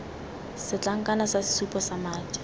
setlankana sa sesupo sa madi